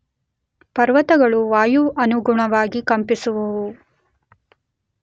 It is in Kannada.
ಪರ್ವತಗಳು ವಾಯುವಿಗನುಗುಣವಾಗಿ ಕಂಪಿಸುವುವು.